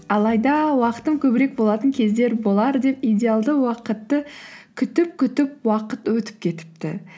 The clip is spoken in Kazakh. алайда уақытым көбірек болатын кездер болар деп идеалды уақытты күтіп күтіп уақыт өтіп кетіпті